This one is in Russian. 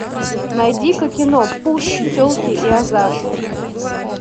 найди ка кино пушки телки и азарт